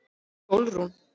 Sólrún